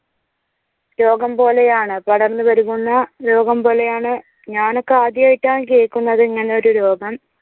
രോഗം പോലെയാണ് പടർന്ന് പെരുകുന്ന രോഗം പോലെയാണ് ഞാനൊക്കെ ആദ്യായിട്ടാണ് കേൾക്കുന്നത്. ഇങ്ങനെ ഒരു രോഗം.